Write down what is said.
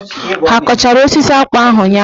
Ha kọchara osisi akpụ ahụ ụnyaahụ?